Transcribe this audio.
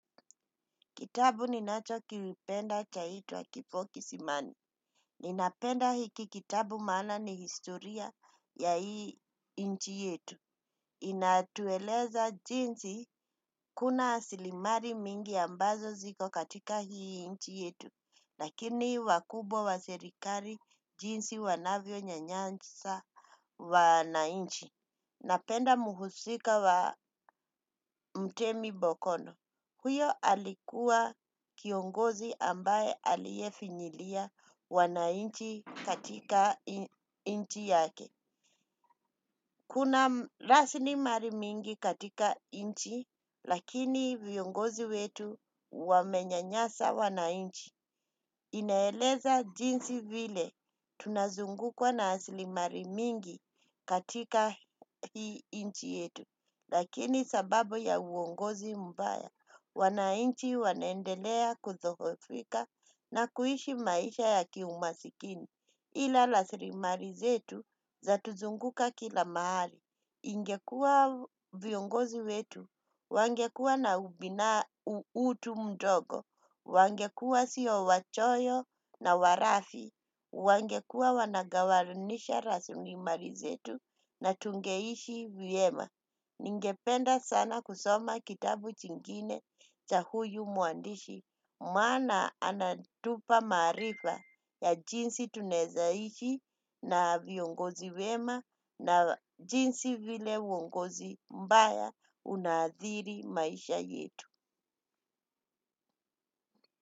Kitabu ni nacho kipenda chaitwa kifo kisimani. Ninapenda hiki kitabu maana ni historia ya inchi yetu. Inatueleza jinsi kuna rasilimali mingi ambazo ziko katika hii inchi yetu. Lakini wakubwa wa serikali jinsi wanavyo nyanyasa wanainchi. Napenda muhusika wa mtemi bokono. Huyo alikuwa kiongozi ambaye aliyefinyilia wanainchi katika inchi yake. Kuna rasilimali mingi katika inchi lakini viongozi wetu wamenyanyasa wanainchi. Inaeleza jinsi vile tunazungukwa narasilimali mingi katika hii inchi yetu. Lakini sababu ya uongozi mbaya, wanainchi wanaendelea kudhohofika na kuishi maisha ya kiumaskini. Ila rasilimali zetu zatuzunguka kila mahali. Ingekuwa viongozi wetu. Wangekuwa na utu mdogo. Wangekuwa sio wachoyo na walafi. Wangekuwa wanagawanyisha rasilimali zetu na tungeishi vyema. Ningependa sana kusoma kitabu chingine cha huyu mwandishi. Maana anatupa maarifa ya jinsi tunaweza ishi na viongozi wema na jinsi vile uongozi mbaya unaadhiri maisha yetu.